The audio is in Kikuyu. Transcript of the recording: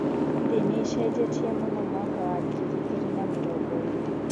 Thĩ nĩĩcenjetie mũno mwaka wa ngiri igĩrĩ na mĩrongo ĩrĩ.